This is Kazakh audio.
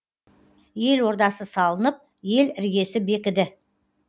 ел ордасы салынып ел іргесі бекіді